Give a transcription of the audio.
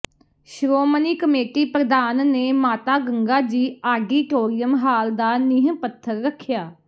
Shiromani committee ਪ੍ਰਧਾਨ ਨੇ Mata Ganga ji auditorium hall ਦਾ ਨੀਂਹ ਪੱਥਰ ਰੱਖਿਆ